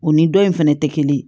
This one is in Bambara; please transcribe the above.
U ni dɔ in fɛnɛ tɛ kelen ye